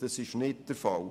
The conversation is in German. Das ist nicht der Fall.